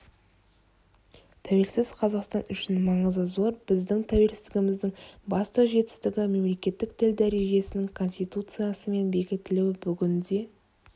тәуелсіз қазақстан үшін маңызы зор біздің тәуелсіздігіміздің басты жетістігі мемлекеттік тіл дәрежесінің конституциямен бекітілуі бүгінде